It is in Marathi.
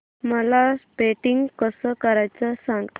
मला पेंटिंग कसं करायचं सांग